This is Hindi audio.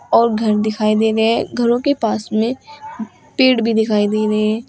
और घर दिखाई दे रहे हैं। घरो के पास में पेड़ भी दिखाई दे रहे हैं।